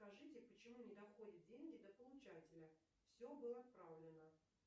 скажите почему не доходят деньги до получателя все было отправлено